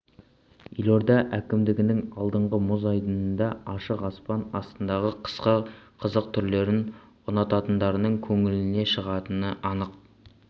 елорда әкімдігінің алдындағы мұз айдыны да ашық аспан астындағы қысқы қызық түрлерін ұнататындардың көңілінен шығатыны анық